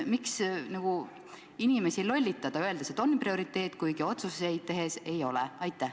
Miks inimesi lollitada, öeldes, et on prioriteet, kuigi otsuseid tehes see seda ei ole?